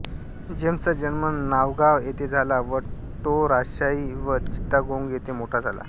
जेम्सचा जन्म नावगाव येथे झाला व टो राजशाही व चीत्तागोंग येथे मोठा झाला